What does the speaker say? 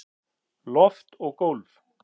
Loft og gólf